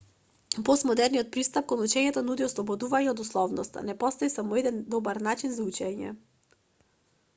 постмодерниот пристап кон учењето нуди ослободување од условноста не постои само еден добар начин за учење